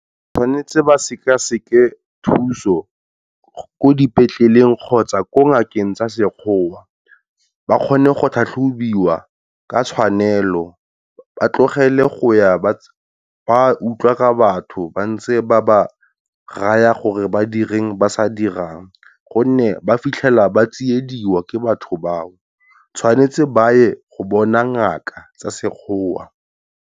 Tshwanetse ba sekeseke thuso ko dipetleleng kgotsa ko ngakeng tsa sekgowa, ba kgone go tlhatlhobiwa ka tshwanelo ba tlogele go ya ba wa tsona utlwa ka batho ba ntse ba ba raya gore ba direng ba sa dirang. Gonne ba fitlhela ba tsiediwa ke batho ba, tshwanetse ba ye go bona ngaka tsa sekgowa.